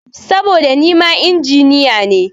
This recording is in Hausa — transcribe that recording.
Saboda nima Injiniya ne.